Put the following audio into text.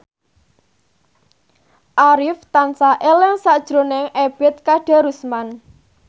Arif tansah eling sakjroning Ebet Kadarusman